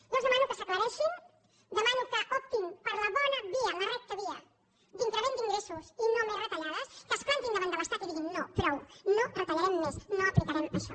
jo els demano que s’aclareixin demano que optin per la bona via la recta via d’increment d’ingressos i no més retallades que es plantin davant de l’estat i diguin no prou no retallarem més no aplicarem això